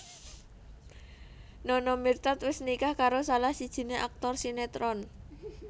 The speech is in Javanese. Nana Mirdad wis nikah karo salah sijiné aktor sinetron